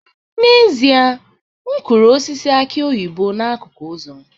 N'ezie, m kụrụ osisi aki oyibo n'akụkụ ụzọ